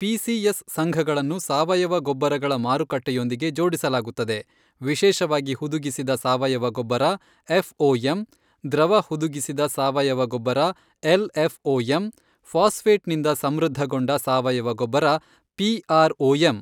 PACS ಸಂಘಗಳನ್ನು ಸಾವಯವ ಗೊಬ್ಬರಗಳ ಮಾರುಕಟ್ಟೆಯೊಂದಿಗೆ ಜೋಡಿಸಲಾಗುತ್ತದೆ, ವಿಶೇಷವಾಗಿ ಹುದುಗಿಸಿದ ಸಾವಯವ ಗೊಬ್ಬರ ಎಫ್ಒಎಂ ದ್ರವ ಹುದುಗಿಸಿದ ಸಾವಯವ ಗೊಬ್ಬರ ಎಲ್ಎಫ್ಒಎಂ ಫಾಸ್ಫೇಟ್ನಿಂದ ಸಮೃದ್ಧಗೊಂಡ ಸಾವಯವ ಗೊಬ್ಬರ ಪಿಆರ್ಒಎಂ.